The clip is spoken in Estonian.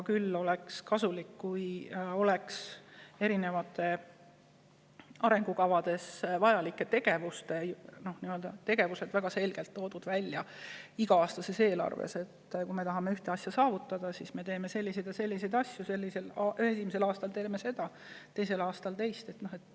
Küll oleks kasulik, kui eri arengukavades vajalikud tegevused oleksid väga selgelt välja toodud iga-aastases eelarves: kui me tahame ühte asja saavutada, siis me teeme selliseid ja selliseid asju, esimesel aastal teeme seda ja teisel aastal teeme teist.